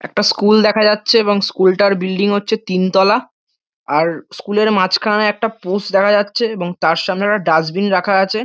একটা স্কুল দেখা যাচ্ছে এবং স্কুল -টার বিল্ডিং হচ্ছে তিনতলা আর স্কুল -এর মাঝখানে একটা পোস্ট দেখা যাচ্ছে এবং তার সামনে একটা ডাস্টবিন রাখা আছে।